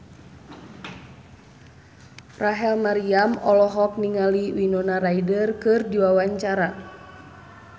Rachel Maryam olohok ningali Winona Ryder keur diwawancara